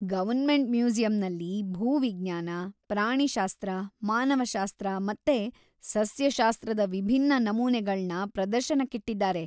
Government ಮ್ಯೂಸಿಯಂನಲ್ಲಿ ಭೂವಿಜ್ಞಾನ, ಪ್ರಾಣಿಶಾಸ್ತ್ರ, ಮಾನವಶಾಸ್ತ್ರ ಮತ್ತೆ ಸಸ್ಯಶಾಸ್ತ್ರದ ವಿಭಿನ್ನ ನಮೂನೆಗಳ್ನ ಪ್ರದರ್ಶನಕ್ಕಿಟ್ಟಿದ್ದಾರೆ.